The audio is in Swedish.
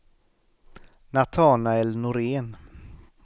Natanael Norén